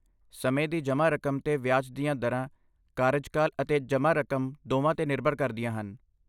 ਸਮੇਂ ਦੀ ਜਮ੍ਹਾਂ ਰਕਮ 'ਤੇ ਵਿਆਜ ਦੀਆਂ ਦਰਾਂ ਕਾਰਜਕਾਲ ਅਤੇ ਜਮ੍ਹਾਂ ਰਕਮ ਦੋਵਾਂ 'ਤੇ ਨਿਰਭਰ ਕਰਦੀਆਂ ਹਨ।